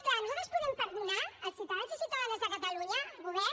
clar nosaltres podem perdonar els ciutadans i ciutadanes de catalunya el govern